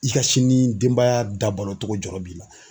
I ka sini denbaya dabalocogo jɔrɔ b'i la.